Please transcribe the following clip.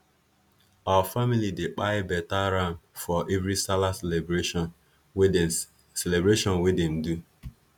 our family dey kpai beta ram for every sallah celebration wey them celebration wey them do